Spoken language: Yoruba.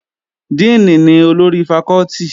Díìnì ni olórí fakọ́tì